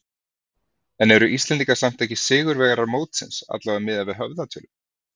En eru Íslendingar samt ekki sigurvegarar mótsins, allavega miðað við höfðatölu?